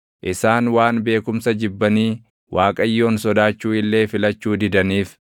Isaan waan beekumsa jibbanii Waaqayyoon sodaachuu illee filachuu didaniif,